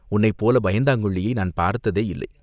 "உன்னைப்போல் பயங்கொள்ளியை நான் பார்த்ததேயில்லை.